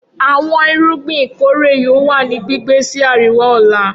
Awọn irugbin ikore yoo wa ni gbigbe si ariwa ọla